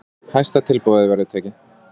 Hæsta tilboði verður tekið.